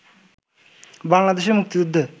বাংলাদেশের মুক্তিযুদ্ধে